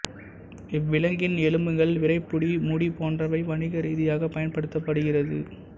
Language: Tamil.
இவ்விலங்கின் எலும்புகள் விறைப்பு முடி போன்றவை வணிக ரீதியாக பயன்படுத்தப்படுகிறது